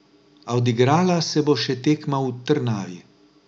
A odigrala se bo še tekma v Trnavi.